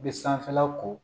U bɛ sanfɛla ko